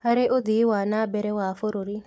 Harĩ ũthii wa na mbere wa bũrũri